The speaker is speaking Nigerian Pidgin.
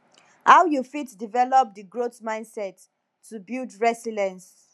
how you fit develop di growth mindset to build resilience